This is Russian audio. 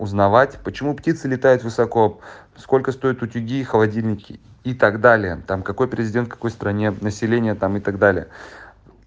узнавать почему птицы летают высоко сколько стоят утюги холодильники и так далее там какой президент какой стране население там и так далее